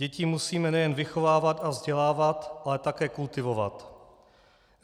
Děti musíme nejen vychovávat a vzdělávat, ale také kultivovat.